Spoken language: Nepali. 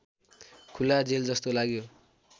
खुला जेलजस्तो लाग्यो